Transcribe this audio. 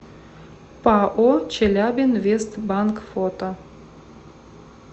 пао челябинвестбанк фото